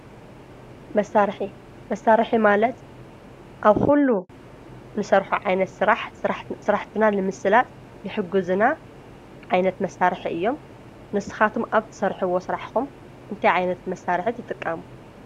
መሳርሒ መሳርሒ ማለት ኣብ ዂሉ ንሰርሖ ዓይነት ስራሕ ስራሕትና ልምስላጥ ልሕጉዝና ዓይነት መሳርሕ እዮም ንስኻቶም ኣብቲ ትሰርሒዎ ስራሕኹም እንታይ ዓይነት መሳርሕ ትጥቀሙ?